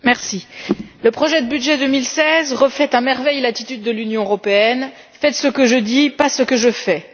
Monsieur le Président, le projet de budget 2016 reflète à merveille l'attitude de l'Union européenne Faites ce que je dis, pas ce que je fais.